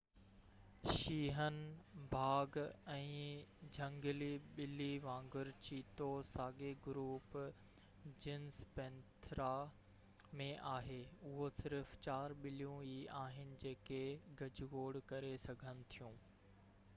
شينهن باگ، ۽ جهنگلي ٻلي وانگر چيتو ساڳئي گروپ جينس پينٿيرا ۾ آهي. اهي صرف چار ٻليون ئي آهن جيڪي گجگوڙ ڪري سگهن ٿيون